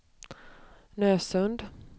Nösund